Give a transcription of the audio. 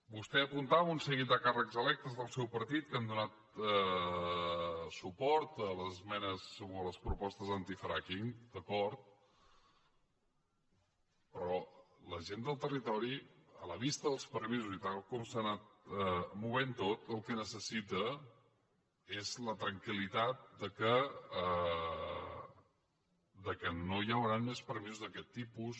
vostè apuntava un seguit de càrrecs electes del seu partit que han donat suport a les esmenes o a les propostes antifrackingri a la vista dels permisos i tal com s’ha anat movent tot el que necessita és la tranquilran més permisos d’aquest tipus